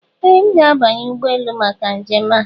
Ee! M ga-abanye ụgbọ elu maka njem a.